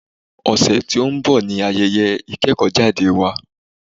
Ọ̀sẹ̀ tí o ń bọ̀ ní ayẹyẹ ìkẹ́kọ̀jáde wa.